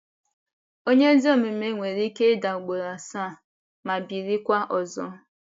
Onye ezi omume nwere Ike ida ugboro asaa, ma bilikwa ọzọ.. ”